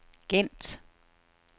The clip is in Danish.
Gent